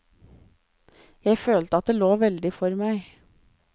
Jeg følte at det lå veldig for meg.